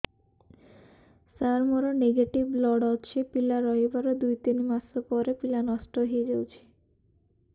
ସାର ମୋର negative blood ଅଛି ପିଲା ରହିବାର ଦୁଇ ତିନି ମାସ ପରେ ପିଲା ନଷ୍ଟ ହେଇ ଯାଉଛି